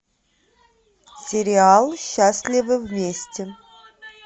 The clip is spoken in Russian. сериал счастливы вместе